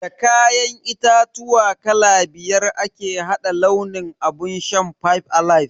Da kayan itatuwa kala biyar ake hada launin abun shan "five alive".